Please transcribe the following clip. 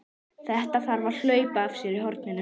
Þetta þarf að hlaupa af sér hornin!